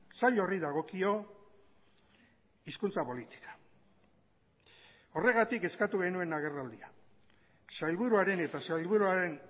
sail horri dagokio hizkuntza politika horregatik eskatu genuen agerraldia sailburuaren eta sailburuaren